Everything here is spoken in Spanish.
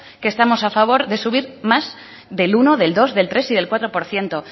que estamos a favor de subir más del uno del dos del tres y del cuatro por ciento